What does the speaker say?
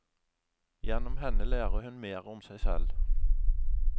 Gjennom henne lærer hun mer om seg selv.